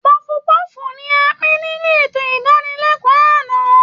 Pọọfu-pọ́ọ̀fù ni a pín nínú ètò ìdánilẹ́kọ̀ọ́ àná